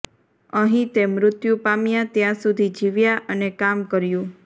અહીં તે મૃત્યુ પામ્યા ત્યાં સુધી જીવ્યા અને કામ કર્યું